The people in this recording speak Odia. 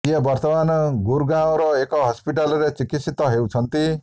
ଯିଏ ବର୍ତ୍ତମାନ ଗୁର୍ ଗାଁଓର ଏକ ହସ୍ପିଟାଲ୍ ରେ ଚିକିତ୍ସିତ ହେଉଛନ୍ତି